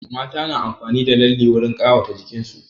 Mata na amfani da lalle wurin ƙawata jikin su